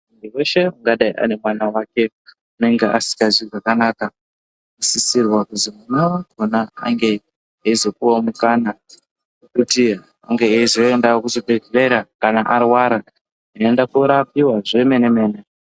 Muntu weshe angadai anemwana wake unenge asilanzwi zvakanaka anosisirws kuti zuwa rakona ange eizopuwawo mukana wekuti ange eizoendawo kuchibhehleya kana areara eienda kundorapiwa zvemene mene.